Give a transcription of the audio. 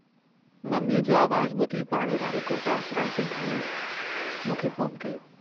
मम्मीअ जो आवाज़ बुधी पाड़े वारे गुरदास रायसिंघाणीअ मूंखे फोन कयो।